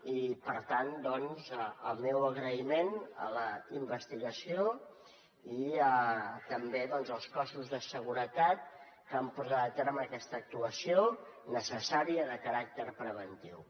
i per tant doncs el meu agraïment a la investigació i també als cossos de seguretat que han portat a terme aquesta actuació necessària de caràcter preventiu